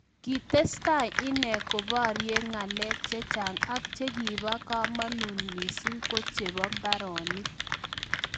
Kitestai inee koparie ngalek chechang ak chekipaa kamanut mising ko cheboo mbaronik